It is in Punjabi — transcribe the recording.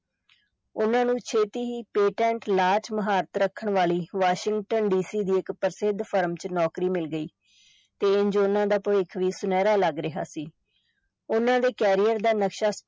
ਉਨਾਂ ਨੂੰ ਛੇਤੀ ਹੀ patent law ਵਿਚ ਮੁਹਾਰਤ ਰੱਖਣ ਵਾਲੀ ਵਾਸ਼ਿੰਗਟਨ DC ਦੀ ਇਕ ਪ੍ਰਸਿੱਧ ਫਰਮ ਵਿਚ ਨੌਕਰੀ ਮਿਲ ਗਈ ਤੇ ਇੰਜ ਉਨ੍ਹਾਂ ਦਾ ਭਵਿੱਖ ਵੀ ਸੁਨਹਿਰਾ ਲੱਗ ਰਿਹਾ ਸੀ, ਉਨ੍ਹਾਂ ਦੇ career ਦਾ ਨਕਸ਼ਾ